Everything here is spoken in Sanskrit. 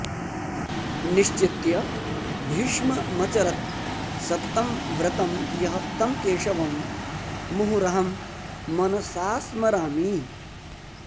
निश्चित्य भीष्ममचरत् सततं व्रतं यः तं केशवं मुहुरहं मनसास्मरामि